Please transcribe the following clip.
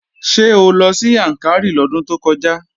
Ṣé o lọ sí Yàǹkàrí lọ́dún tó kọjá?